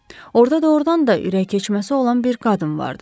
Orda doğrudan da ürəyikeçməsi olan bir qadın vardı.